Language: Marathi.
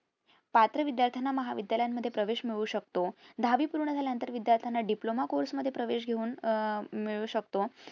पात्र विध्यार्थाना महाविद्यालयमध्ये प्रवेश मिळू शकतो दहावी पूर्ण झाल्यानंतर विध्यार्थाना diploma course मध्ये प्रवेश घेऊन अह हम्म मिळू शकतो